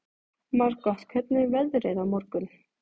Margot, hvernig er veðrið á morgun?